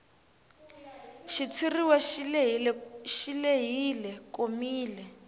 xitshuriwa xi lehile komile